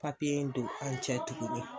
Papiye in don an cɛ tuguni